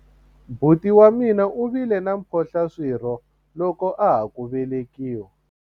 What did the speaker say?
buti wa mina u vile na mphohlaswirho loko a ha ku velekiwa